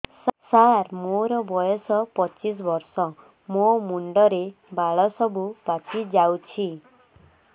ସାର ମୋର ବୟସ ପଚିଶି ବର୍ଷ ମୋ ମୁଣ୍ଡରେ ବାଳ ସବୁ ପାଚି ଯାଉଛି